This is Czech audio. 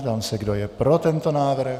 Ptám se, kdo je pro tento návrh.